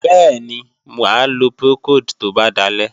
Bẹ́ẹ̀ni, mà á lo Procold tó bá dalẹ́.